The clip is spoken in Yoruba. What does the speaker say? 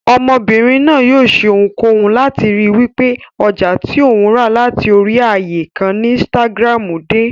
Ọmọbìnrin náà yóò ṣe ohunkóhun láti ríi wípé ọjà tí òun rà láti orí ààyè kan ni insitagiramu dé.